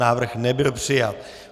Návrh nebyl přijat.